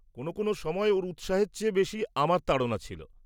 কোনো কোনো সময় ওর উৎসাহের চেয়ে বেশি আমার তাড়না ছিল।